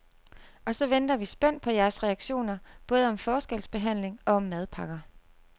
Og så venter vi spændt på jeres reaktioner, både om forskelsbehandling og om madpakker.